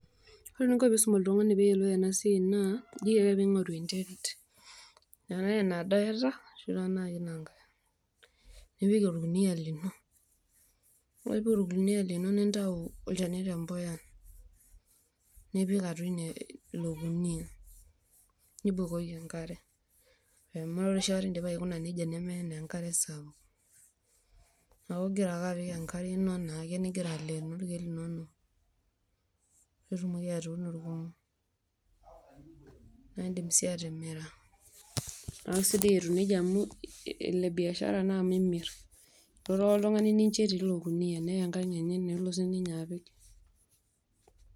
Ore eninko peisum oltungani peyiolou enasiai naa isum oltungani naa ijoki ake peingoru enterit ,enkarae nado eata ashuinankae, nipik orkunia lino nintau olchani pookitembuya nipik atua ilo kunia nibukoki enkare, amu ore indipa aikuna nejia nemeim enkare sapuk neaku ingira ake apik enkare ningira aleen irkiek linonok ,piitumoki atuuno pooki nindim si atimira na kesidai etiu nejia amu enebiashara naa amu imir , kelotu ake oltungani nincho etii ilokunia neya enkang enye nelo sininye apik.